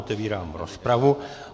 Otevírám rozpravu.